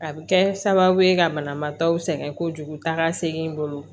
A bɛ kɛ sababu ye ka banabaatɔ sɛgɛn kojugu taaga segin bolo